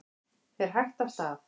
Fer hægt af stað